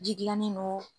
Ji gilannen don